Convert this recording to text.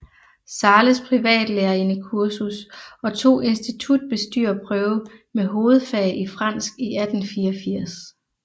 Zahles privatlærerindekursus og tog institutbestyrerprøve med hovedfag i fransk i 1884